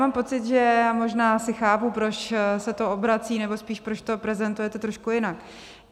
Mám pocit, že - já možná asi chápu, proč se to obrací, nebo spíš proč to prezentujete trošku jinak.